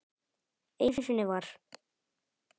Einu sinni var.